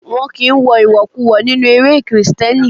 Won kí ń wọ ìwọ̀kuwọ̀ nínú eré Kristẹni.